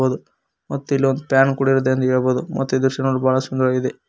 ದು ಮತ್ತು ಇಲ್ಲೊಂದ್ ಫ್ಯಾನ್ ಕೂಡ ಇದೆ ಎಂದು ಹೇಳ್ಬೋದ್ ಮತ್ತು ಈ ದೃಶ್ಯ ನೋಡಲು ಬಹಳ ಸುಂದರವಾಗಿದೆ.